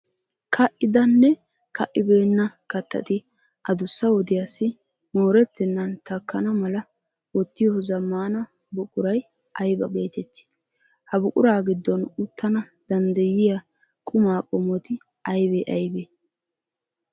Ka'idanne ka'ibeenna kattati adussa wodiyassi moorettennan takkana mal wottiyo zammaana buquray ayba geetettii? Ha buquraa giddon uttana danddayiya qumaa qommoti aybee aybee?